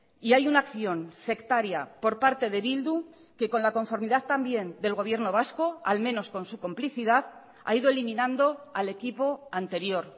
y hay una acción sectaria por parte de bildu que con la conformidad también del gobierno vasco al menos con su complicidad ha ido eliminando al equipo anterior